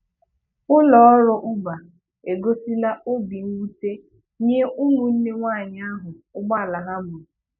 Ụlọọrụ Uber egosila obi mwute nye ụmụnne nwaanyị ahụ ụgbọala ha gburu